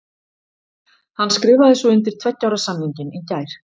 Hann skrifaði svo undir tveggja ára samningin í gær.